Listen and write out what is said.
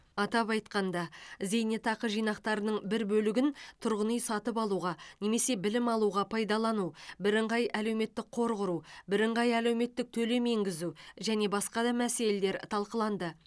атап айтқанда зейнетақы жинақтарының бір бөлігін тұрғын үй сатып алуға немесе білім алуға пайдалану бірыңғай әлеуметтік қор құру бірыңғай әлеуметтік төлем енгізу және басқа да мәселелер талқыланды